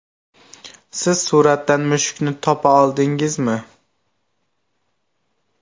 Siz suratdan mushukni topa oldingizmi?